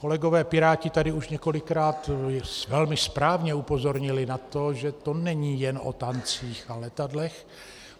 Kolegové Piráti tady už několikrát velmi správně upozornili na to, že to není jen o tancích a letadlech.